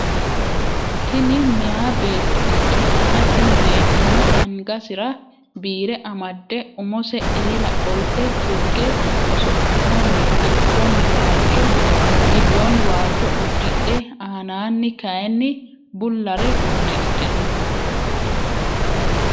Tini meeyaa beetto ikkitanna tini beettono angasira biire amadde umose eela qoltte tugge osollitanni gidoonni waajjo udidhe anaanni kaayiini bullare udidhe no